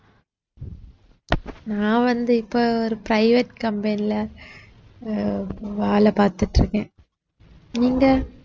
நான் வந்து இப்போ ஒரு private company ல அஹ் வேலை பார்த்துட்டு இருக்கேன் நீங்க